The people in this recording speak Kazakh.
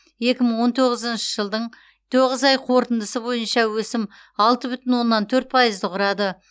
екі мың он тоғызыншы жылдың тоғыз ай қорытындысы бойынша өсім алты бүтін оннан төрт пайызды құрады